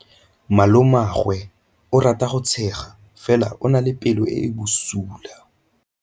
Malomagwe o rata go tshega fela o na le pelo e e bosula.